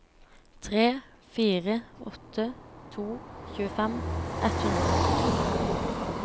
tre fire åtte to tjuefem ett hundre og førtito